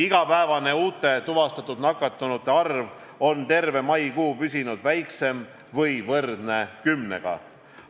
Igapäevane uute tuvastatud nakatunute arv on terve maikuu püsinud väiksem kui kümme või võrdne kümnega.